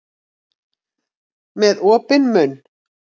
Með opinn munn.